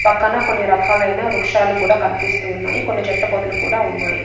పక్కన కొన్ని రకాలైన వృక్షాలు కూడా కనిపిస్తూ ఉన్నాయి. కొన్ని చెట్ల పొదలు కూడా ఉన్నాయి.